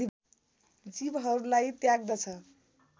जीवहरूलाई त्याग्दछ